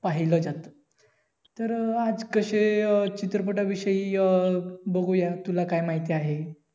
पाहिलंजातं तर अं आज कशे चित्रपटाविषयी अं बघूया तुला काय माहिती आहे